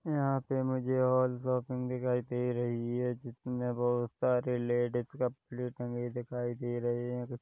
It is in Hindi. यहाँ पे मुझे ऑल शॉपिंग दिखाई दे रही हैं जिसमे बहुत सारे लेडीज कपड़े टंगे दिखाई दे रहे हैं।